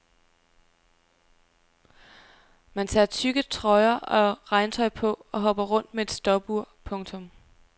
Man tager tykke trøjer og regntøj på og hopper rundt med et stopur. punktum